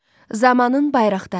Zamanın Bayraqdarı.